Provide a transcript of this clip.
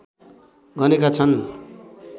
गनेका छन्